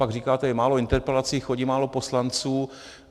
Pak říkáte: je málo interpelací, chodí málo poslanců.